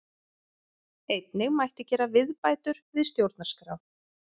Einnig mætti gera viðbætur við stjórnarskrá